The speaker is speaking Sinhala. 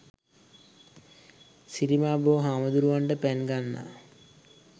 සිරිමා බෝ හාමුදුරුවන්ට පැන් ගන්නා